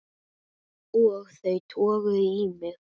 Og þau toguðu í mig.